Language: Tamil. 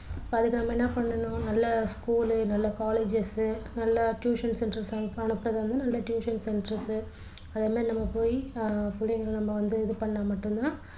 அதுக்கு நாம என்ன பண்ணணும் நல்ல school நல்ல colleges நல்ல tuition centre க்கு அனுப்புறது வந்து நல்ல tuition centre க்கு அதேமாரி நம்ம போயி ஆஹ் பிள்ளைங்கள நம்ம வந்து இது பண்ணா மட்டும் தான்